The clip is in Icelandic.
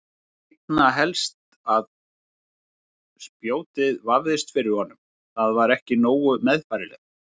Einna helst að spjótið vefðist fyrir honum, það var ekki nógu meðfærilegt.